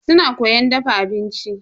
Suna koyan dafa abinci.